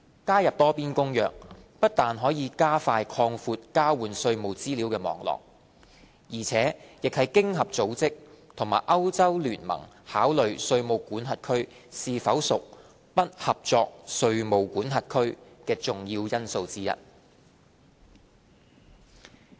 加入《多邊公約》不但可加快擴闊交換稅務資料的網絡，而且亦是經合組織和歐洲聯盟考慮稅務管轄區是否屬"不合作稅務管轄區"的重要因素之一。